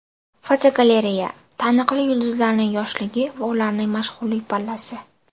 Fotogalereya: Taniqli yulduzlarning yoshligi va ularning mashhurlik pallasi.